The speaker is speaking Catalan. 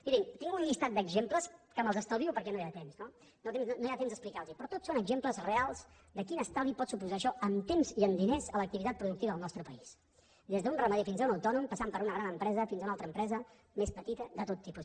mirin tinc un llistat d’exemples que me’ls estalvio perquè no hi ha temps no no hi ha temps d’explicar los però tot són exemples reals de quin estalvi pot suposar això en temps i en diners a l’activitat productiva del nostre país des d’un ramader fins a un autònom passant per una gran empresa fins a una altra empresa més petita de tot tipus